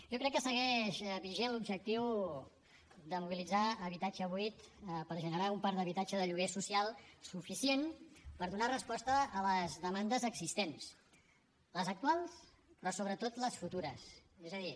jo crec que segueix vigent l’objectiu de mobilitzar habitatge buit per generar un parc d’habitatge de lloguer social suficient per donar resposta a les demandes existents les actuals però sobretot les futures és a dir